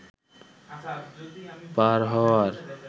পার হওয়ার